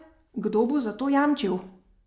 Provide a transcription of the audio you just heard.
Kdo bo za to jamčil?